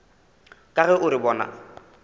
ka ge o re bona